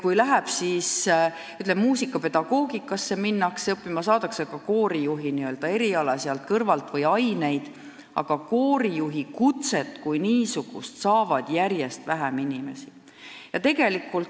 Kui minnakse, siis ehk muusikapedagoogika erialale ja saadakse seal kõrvalt ka koorijuhi oskusi, aga koorijuhi kutset kui niisugust omandab järjest vähem inimesi.